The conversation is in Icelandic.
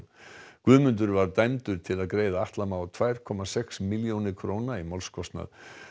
Guðmundur var dæmdur til að greiða Atla Má tvær komma sex milljónir króna í málskostnað